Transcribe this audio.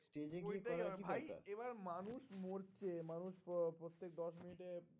Stage গিয়ে করার কি দরকার? ভাই এবার মানুষ মরছে মানুষ প্রত্যেক দশ minute এ